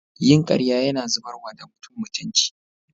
Yin karya Yana zubarwa da mutum mutunci.